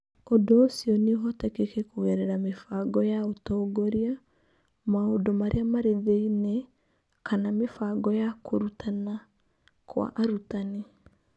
Ũndũ ũcio nĩ ũhotekeke kũgerera mĩbango ya ũtongoria, maũndũ marĩa marĩ thĩinĩ, kana mĩbango ya kũrutana kwa arutani.